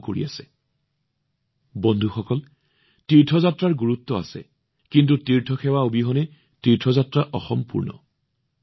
বন্ধুসকল যিদৰে আমাৰ তীৰ্থযাত্ৰাৰ গুৰুত্ব আছে তীৰ্থসেৱাৰ গুৰুত্বও উল্লেখ কৰা হৈছে আৰু মই এইটোও কম যে তীৰ্থযাত্ৰাৰ সেৱা অবিহনে তীৰ্থযাত্ৰাও অসম্পূৰ্ণ